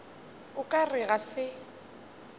o ka re ga se